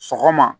Sɔgɔma